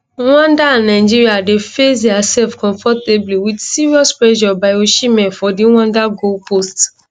rwanda and nigeria dey face diasef comfortably wit serious pressure by osihmen for di rwanda goalpost